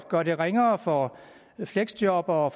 gøre det ringere for fleksjobbere